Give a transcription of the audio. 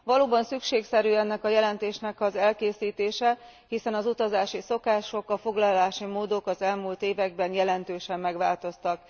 Valóban szükségszerű ennek a jelentésnek az elkészítése, hiszen az utazási szokások, a foglalási módok az elmúlt években jelentősen megváltoztak.